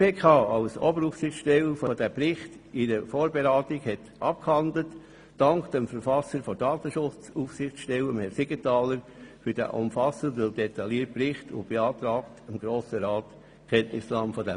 Die GPK, welche als Oberaufsichtsstelle den Bericht in einer Vorberatung behandelt hat, dankt dem Verfasser der Datenschutzaufsichtsstelle, Herrn Siegenthaler, für den umfassenden, detaillierten Bericht und beantragt dem Grossen Rat dessen Kenntnisnahme.